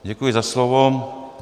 Děkuji za slovo.